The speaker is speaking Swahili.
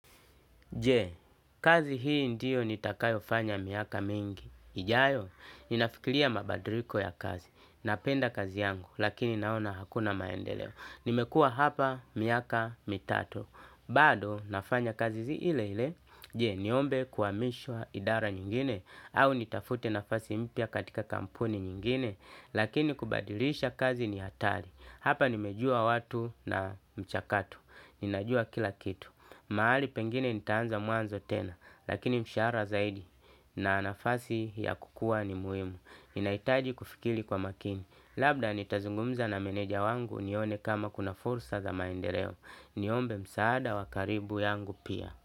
Je, kazi hii ndiyo nitakayofanya miaka mingi? Ijayo? Ninafikiria mabadiliko ya kazi. Napenda kazi yangu, lakini naona hakuna maendeleo. Nimekuwa hapa miaka mitatu. Bado, nafanya kazi ile ile. Je, niombe kuhamishwa idara nyingine au nitafute nafasi mpya katika kampuni nyingine? Lakini kubadilisha kazi ni hatari. Hapa nimejua watu na mchakatu. Ninajua kila kitu. Mahali pengine nitaanza mwanzo tena, lakini mshahara zaidi na nafasi ya kukua ni muhimu. Ninahitaji kufikiri kwa makini. Labda nitazungumza na meneja wangu nione kama kuna fursa za maendeleo. Niombe msaada wa karibu yangu pia.